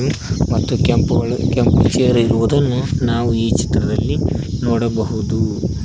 ಮತ್ತು ಕೆಂಪುಗಳು ಕೆಂಪು ಸೀರೆ ಇರುವುದನ್ನು ನಾವು ಈ ಚಿತ್ರದಲ್ಲಿ ನೋಡಬಹುದು.